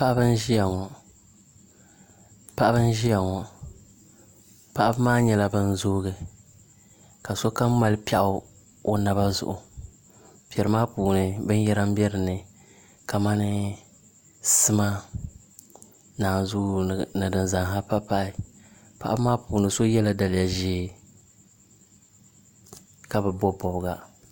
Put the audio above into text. Paɣaba n ʒiya ŋo paɣaba maa nyɛla bin zoogi ka sokam mali piɛɣu o naba zuɣu piɛri maa puuni binyɛra n bɛ dinni kamani sima ni naanzuu ni din kam pahi pahi paɣaba maa puuni so yɛla daliya ʒiɛ ka bi bob bobga